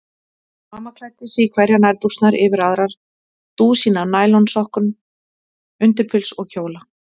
Mamma klæddi sig í hverjar nærbuxurnar yfir aðrar, dúsín af nælonsokkum, undirpils og kjóla.